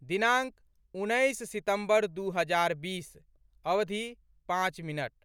दिनाङ्क, उन्नैस सितम्बर दू हजार बीस, अवधि, पाँच मिनट